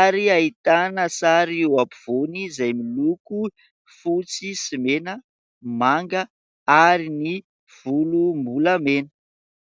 ary hahitana sary eo ampivoany, izay miloko fotsy sy mena, manga ary ny volom-bolamena.